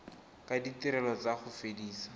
ka ditirelo tsa go fedisa